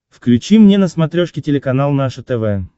включи мне на смотрешке телеканал наше тв